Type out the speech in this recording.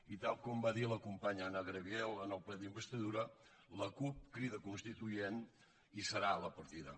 i tal com va dir la companya anna gabriel en el ple d’investidura la cup crida constituent hi serà a la partida